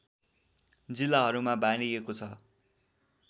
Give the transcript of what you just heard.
जिल्लाहरूमा बाँडिएको छ